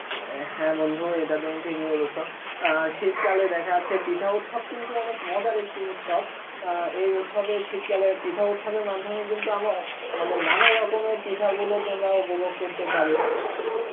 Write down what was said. এ হ্যাঁ বন্ধু ইটা তুমি ঠিক ই বলেছ অ্যাঁ শীতকালে দেখা যাচ্ছে পিঠা উৎসব কিন্তু অনেক মজার একটি উৎসব অ্যাঁ কি উৎসবে শীতকালে পিঠা উৎসবের মাধ্যমে কিন্তু আমরা ও~ মানে নানা রকমের পিঠাগুলোকে তোমরা উপভোগ করতে পারে